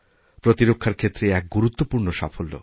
প্রতিরক্ষার ক্ষেত্রে এ একগুরুত্বপূর্ণ সাফল্য